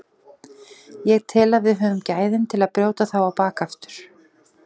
Ég tel að við höfum gæðin til að brjóta þá á bak aftur.